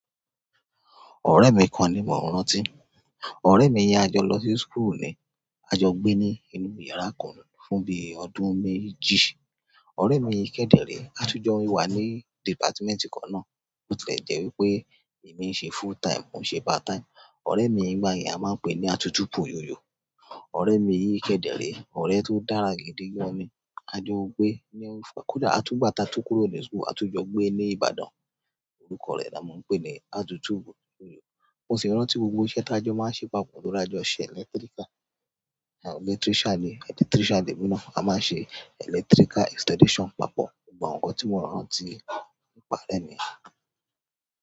Ọ̀rẹ́ mi kan ni mò ń rántí. Ọ̀rẹ́ mi yẹn a jọ lọ sí school ni. A jọ gbé ní inú yàrá kan fún bí ọdún méjì. Ọ̀rẹ́ mi yìí kẹ̀ dẹ̀ rèé, a tún jọ wà ní department kan náà. Ó tilẹ̀ jẹ́ wípé èmi ń ṣe full time, òun ń ṣe part time. Ọ̀rẹ́ mi yìí ńgbà yẹn, a máa ń pèé ní àtútúpòyoyò. Ọ̀rẹ́ mi yìí kẹ̀ dẹ̀ rèé, ọ̀rẹ́ tó dára gidi gan-an ni. A jọ gbé ní-- kódà a tún gbà tá a tú kúrò ní school, a tún jọ gbé ní Ibadan. Orúkọ rẹ̀ la máa ń pè ní àtútúpòyoyò. Mo sì rántí gbogbo iṣẹ́ tá a jọ máa ń ṣe papọ̀ torí a jọ ṣe electrical. Electrician ni, electrician lèmi náà. A máa ń ṣe electrical installation papọ̀. Gbogbo àwọn nǹkan tí mò ń rántí nípa ọ̀rẹ́ mi.